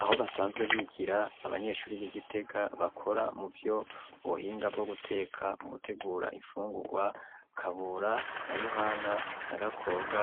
Aho basanzwe bigira abanyeshuri b'igitega bakora mu vyo buhinga bwo guteka mu gutegura imfungurwa kabura na yohana na gakobwa